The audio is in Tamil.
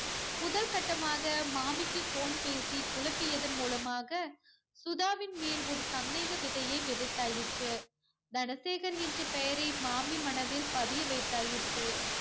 முதல் கட்டமாக மாமிக்கு phone பேசி குழப்பியது மூலமாக சுதாவின் மேல் ஒரு சந்தேக விதையை விதைத்தாயிற்று. தனசேகர் என்ற பெயரை மாமி மனதில் பதிய வைத்தாயிற்று.